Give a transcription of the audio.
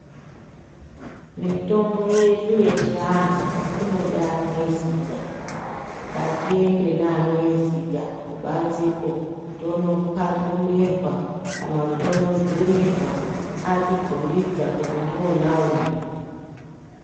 Mitombo yedu yechianhu inoda anoiziya ngatiende neanoiziya kubanzeko tondokwakunirwa kana kuti tondodzurirwa atikombidza kuti ndiona uyu.